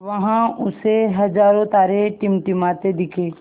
वहाँ उसे हज़ारों तारे टिमटिमाते दिखे